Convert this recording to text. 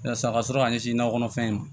Yasa a ka sɔrɔ k'a ɲɛsin nakɔ kɔnɔfɛn ma